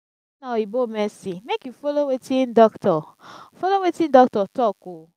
if na oyibo medicine mek you follow wetin dokitor follow wetin dokitor talk o